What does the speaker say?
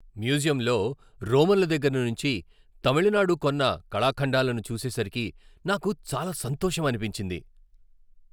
మ్యూజియంలో రోమన్ల దగ్గర నుంచి తమిళనాడు కొన్న కళాఖండాలను చూసేసరికి నాకు చాలా సంతోషమనిపించింది.